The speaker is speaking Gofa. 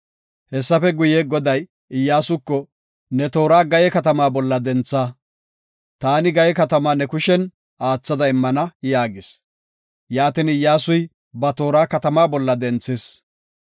Hessafe guye, Goday Iyyasuko, “Ne toora Gaye katamaa bolla dentha. Taani Gaye katamaa ne kushen aathada immana” yaagis. Yaatin Iyyasuy ba toora katamaa bolla denthis.